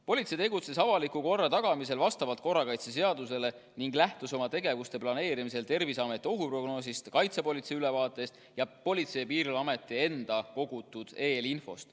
Politsei tegutses avaliku korra tagamisel vastavalt korrakaitseseadusele ning lähtus oma tegevuse planeerimisel Terviseameti ohuprognoosist, kaitsepolitsei ülevaatest ja Politsei- ja Piirivalveameti enda kogutud eelinfost.